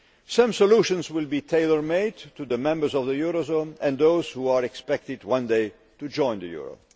Some solutions will be tailor made to the members of the eurozone and those who are expected one day to join the euro.